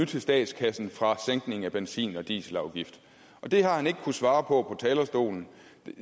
til statskassen fra sænkningen af benzin og dieselafgifterne og det har han ikke kunnet svare på talerstolen